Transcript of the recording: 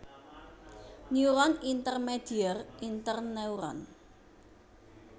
Neuron Intermedier Interneuron